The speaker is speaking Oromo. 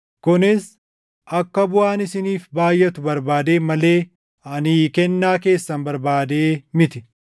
Kunis akka buʼaan isiniif baayʼatu barbaadeen malee ani kennaa keessan barbaadee miti.